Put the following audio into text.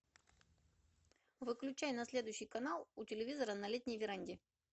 выключай на следующий канал у телевизора на летней веранде